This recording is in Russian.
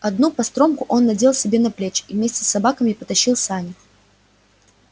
одну постромку он надел себе на плечи и вместе с собаками потащил сани